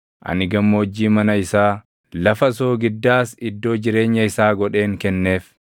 Ani gammoojjii mana isaa, lafa soogiddaas iddoo jireenya isaa godheen kenneef.